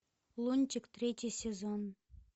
лунтик третий сезон